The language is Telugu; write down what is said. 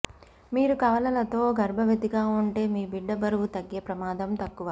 మీరు కవలలతో గర్భవతిగా ఉంటే మీ బిడ్డ బరువు తగ్గే ప్రమాదం తక్కువ